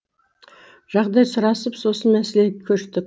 жағдай сұрасып сосын мәселеге көштік